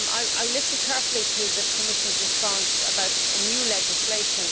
I will listen carefully to the Commission's response about new legislation.